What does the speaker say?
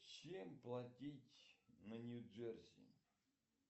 чем платить на нью джерси